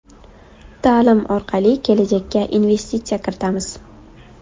Ta’lim orqali kelajakka investitsiya kiritamiz.